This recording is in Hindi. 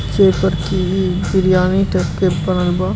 बिरयानी टाइप के पराल बा।